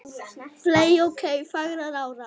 fley ok fagrar árar